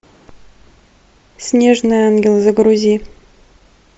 снежный ангел загрузи